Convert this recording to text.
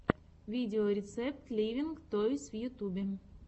видеорецепт ливинг тойс в ютюбе